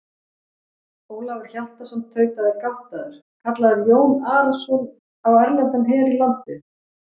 Ólafur Hjaltason tautaði gáttaður:-Kallar Jón Arason á erlendan her í landið?